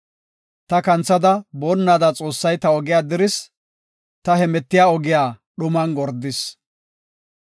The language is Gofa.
Ta kanthada boonnada Xoossay ta ogiya diris; ta hemetiya ogiya dhuman gordis.